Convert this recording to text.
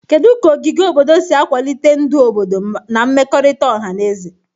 Kedu ka ogige obodo si akwalite ndụ obodo na mmekọrịta ọha na eze?